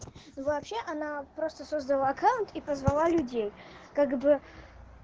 ну вообще она просто создала аккаунт и позвала людей как бы